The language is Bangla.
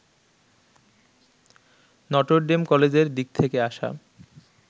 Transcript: নটরডেম কলেজের দিক থেকে আসা